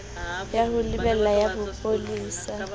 ya ho lebela ya bopolesa